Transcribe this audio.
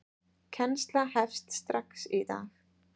Kennsla hefst strax í dag.